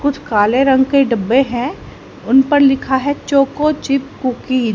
कुछ काले रंग के डब्बे हैं उन पर लिखा है चोको चिप कुकी --